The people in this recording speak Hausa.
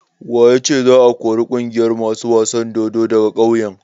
Wa ya ce za a kori ƙungiyar masu wasan dodo daga kauyen?